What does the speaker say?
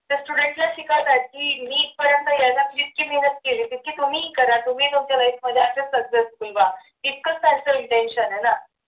त्या student ला शिकवतात की मी इथपर्यंत यायला जितकी मेहनत केली इतकी तुम्ही करा तुम्ही तुमच्या life मध्ये असेच successful व्हा इतकच त्यांच intention आहे ना